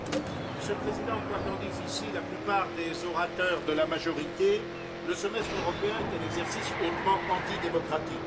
Monsieur le Président, quoi qu'en disent ici la plupart des orateurs de la majorité, le semestre européen est un exercice hautement antidémocratique.